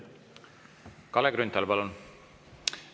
Kalle Grünthal, palun!